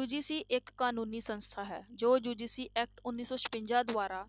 UGC ਇਹ ਕਾਨੂੰਨੀ ਸੰਸਥਾ ਹੈ ਜੋ UGC act ਉੱਨੀ ਸੌ ਛਪੰਜਾ ਦੁਆਰਾ